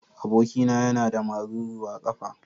Abokina yana da maruru a kafa.